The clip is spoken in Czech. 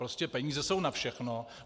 Prostě peníze jsou na všechno.